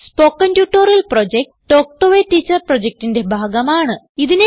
spoken tutorial project talk to a teacher പ്രൊജക്റ്റിന്റെ ഭാഗമാണ്